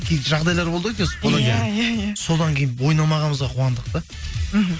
кейін жағдайлар болды ғой иә иә иә содан кейін ойнамағанымызға қуандық та мхм